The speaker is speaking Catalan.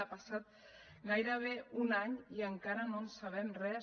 ha passat gairebé un any i encara no en sabem res